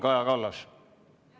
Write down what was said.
Kaja Kallas, palun!